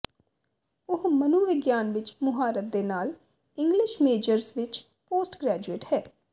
ਉਹ ਮਨੋਵਿਗਿਆਨ ਵਿੱਚ ਮੁਹਾਰਤ ਦੇ ਨਾਲ ਇੰਗਲਿਸ਼ ਮੇਜਰਸ ਵਿੱਚ ਪੋਸਟ ਗ੍ਰੈਜੂਏਟ ਹੈ